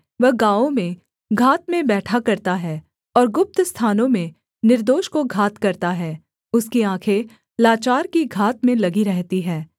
वह गाँवों में घात में बैठा करता है और गुप्त स्थानों में निर्दोष को घात करता है उसकी आँखें लाचार की घात में लगी रहती है